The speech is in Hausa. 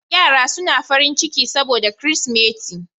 Yara suna farin ciki saboda Kirsimeti